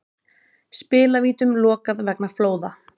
Spilavítum lokað vegna flóða